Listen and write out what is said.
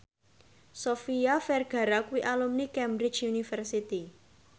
Sofia Vergara kuwi alumni Cambridge University